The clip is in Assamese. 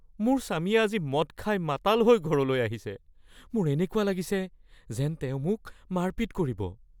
মোৰ স্বামীয়ে আজি মদ খাই মাতাল হৈ ঘৰলৈ আহিছে। মোৰ এনেকুৱা লাগিছে যেন তেওঁ মোক মাৰপিট কৰিব।